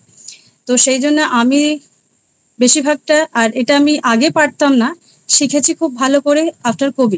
তো সেই জন্য আমি বেশিরভাগটা আর এটা অমি আগে পারতাম না শিখেছি খুব ভালো করে after covid